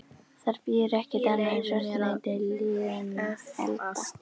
Þar bíður ekki annað en svartnætti liðinna alda.